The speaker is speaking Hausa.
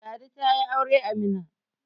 Ladi ta yi aure a Mina